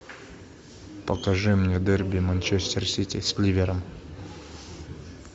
покажи мне дерби манчестер сити с ливером